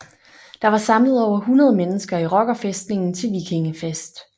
Der var samlet over 100 mennesker i rockerfæstningen til vikingefest